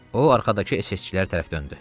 O arxadakı SS-çilərə döndü.